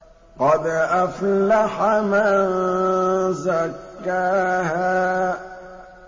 قَدْ أَفْلَحَ مَن زَكَّاهَا